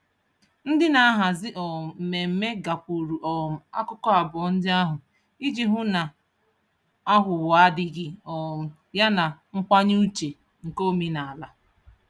Ndị na-ahazi um mmemme gakwuuru um akụkụ abụọ ndị ahụ iji hụ na aghụghọ adịghị um ya na nkwanye uche nke omenaala.